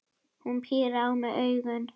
Hún pírir á mig augun.